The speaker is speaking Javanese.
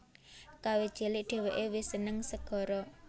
Kawit cilik dheweke wis seneng segara